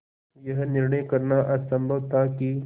यह निर्णय करना असम्भव था कि